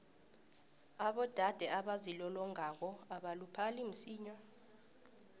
abodade abazilolongako abaluphali msinya